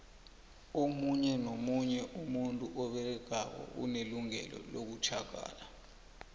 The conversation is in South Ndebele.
omunye nomunye umuntu oberegako unelungelo lokutjhagala